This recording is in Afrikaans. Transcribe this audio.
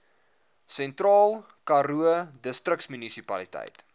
sentraal karoo distriksmunisipaliteit